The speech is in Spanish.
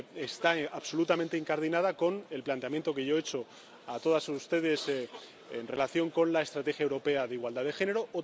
está absolutamente incardinada con el planteamiento que yo he hecho a todos ustedes en relación con la Estrategia Europea de Igualdad de Género.